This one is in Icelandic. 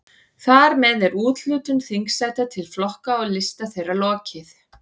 Þar með er úthlutun þingsæta til flokka og lista þeirra lokið.